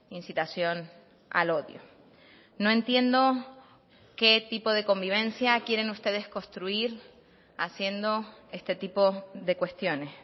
incitación al odio no entiendo qué tipo de convivencia quieren ustedes construir haciendo este tipo de cuestiones